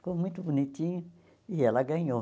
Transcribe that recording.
Ficou muito bonitinho e ela ganhou.